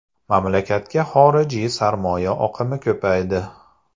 Mamlakatga xorijiy sarmoya oqimi ko‘paydi.